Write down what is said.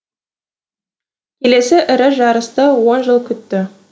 келесі ірі жарысты он жыл күтті